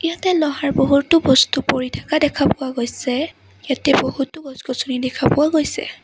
ইয়াতে লহাৰ বহুতো বস্তু পৰি থাকা দেখা পোৱা গৈছে ইয়াতে বহুতো গছ গছনি দেখা পোৱা গৈছে।